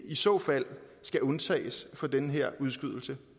i så fald skal undtages fra den her udskydelse